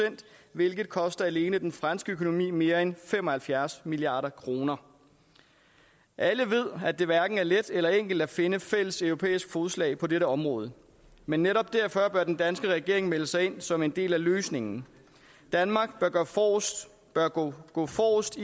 hvilket koster alene den franske økonomi mere end fem og halvfjerds milliard kroner alle ved at det hverken er let eller enkelt at finde fælles europæisk fodslag på dette område men netop derfor bør den danske regering melde sig ind som en del af løsningen danmark bør gå gå forrest